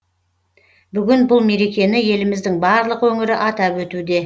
бүгін бұл мерекені еліміздің барлық өңірі атап өтуде